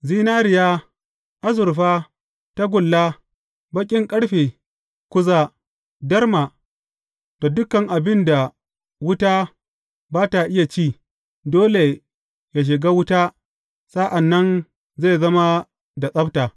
Zinariya, azurfa, tagulla, baƙin ƙarfe, kuza, darma da dukan abin da wuta ba ta iya ci, dole yă shiga wuta sa’an nan zai zama da tsabta.